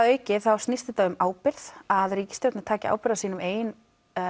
auki snýst þetta um ábyrgð að ríkisstjórnin taki ábyrgð á sínum eigin